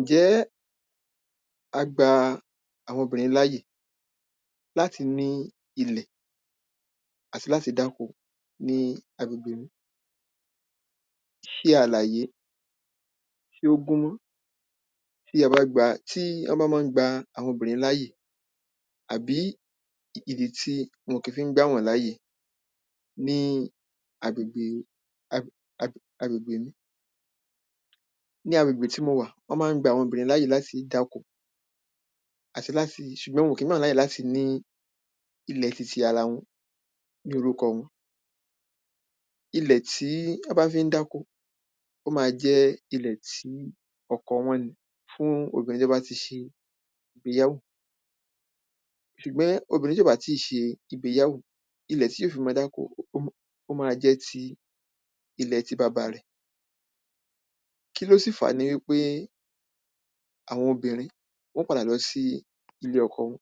Ǹjẹ́ ā gbā àwọ̄n ōbìnrīn láyè látī ní īlẹ̀ àtī látī dákō ní āgbègbè mī. Ṣē àlàyé tí ó gúná tí ā bá gbā tí ā gbā bá má ń gbā àwọ̄n ōbìnrīn láyè àbí ìdí tí wọ̄n kí fí ń gbà wọ́n láyè ní āgbègbè āgbègbè mī. Ní āgbègbè tí mō wà wọ́n má ń gbā àwọ̄n ōbìnrīn láyè látī dákō àtī látī ṣùgbọ́n wọ̄n ò kí ń gbà wọ́n láyè látī ní īlẹ̀ tītī ārā wọ̄n ní ōrúkọ̄ wọ̄n. Īlẹ̀ tí wọ́n bá fí ń dákō ó má jẹ́ īlẹ̀ tí ọ̄kọ̄ wọ̄n nī fún ōbìnrīn tó bá tī ṣē ìgbéyàwó. Ṣùgbọ́n ōbìnrīn tí ò bá tī ṣē ìgbéyàwó īlẹ̀ tí ó fī má dákō ó má jẹ́ tī īlẹ̀ tī bābā rẹ̀. Kíló sì fàá nī wípé àwọ̄n ōbìnrīn wọ́n ó pādà lọ̄ sí īlé ọ̄kọ̄ wọ̄n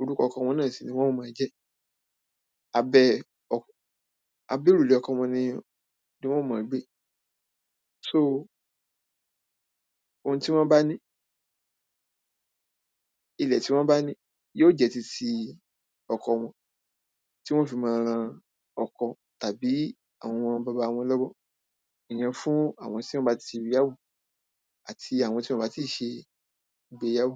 ōrúkọ̄ ọ̄kọ̄ wọ̄n náà sì nī wọ́n ó mọ̄ jẹ́ ābẹ́ ọ̄ ābẹ́ òrùlé ọ̄kọ̄ wọ̄n nī wọ́n ó má gbé. So ōhūn tí wọ́n bá ní īlẹ̀ tí wọ́n bá ní yóò jẹ́ tītī ọ̄kọ̄ wọ̄n tí wọ́n fí má rān ọ̄kọ̄ tàbí àwọ̄n bàbá wọ̄n lọ́wọ́ ìyẹ̄n fún àwọ̄n tí wọ́n bá tī níyàwó àtī àwọ̄n tí wọ̄n ò bá tí ṣē ìgbéyàwó.